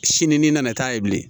Sini n'i nana taa yen bilen